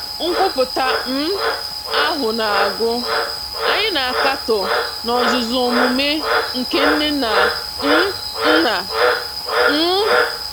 Nkwupụta um ahụ na-agụ: Anyị na-akatọ n'ozuzu omume nke nne na um nna. um